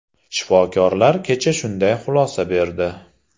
Shifokorlar kecha shunday xulosa berdi.